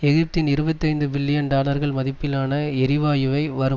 எகிப்தின் இருபத்தி ஐந்து பில்லியன் டாலர்கள் மதிப்பிலான எரிவாயுவை வரும்